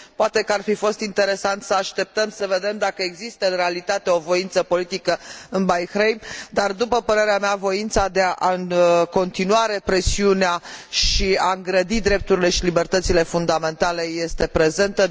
Poate că ar fi fost interesant să așteptăm să vedem dacă există în realitate o voință politică în Bahrain, dar, după părerea mea, voința de a continua represiunea și de a îngrădi drepturile și libertățile fundamentale este prezentă.